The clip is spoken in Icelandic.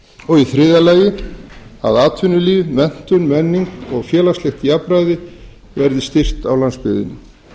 og í þriðja lagi að atvinnulíf menntun menning og félagslegt jafnræði verði styrkt á landsbyggðinni